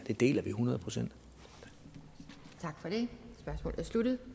vi deler hundrede procent eller det